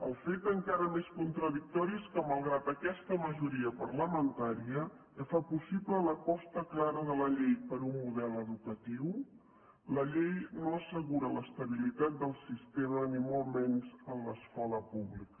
el fet encara més contradictori és que malgrat aquesta majoria parlamentària que fa possible l’aposta clara de la llei per un model educatiu la llei no assegura l’estabilitat del sistema ni molt menys en l’escola pública